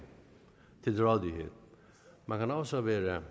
til rådighed man kan også være